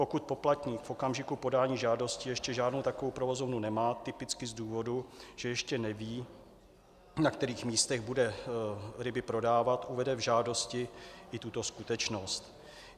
Pokud poplatník v okamžiku podání žádosti ještě žádnou takovou provozovnu nemá, typicky z důvodu, že ještě neví, na kterých místech bude ryby prodávat, uvede v žádosti i tuto skutečnost.